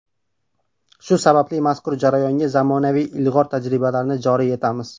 Shu sababli mazkur jarayonga zamonaviy ilg‘or tajribalarni joriy etamiz.